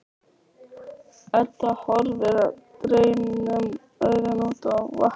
Edda horfir dreymnum augum út á vatnið.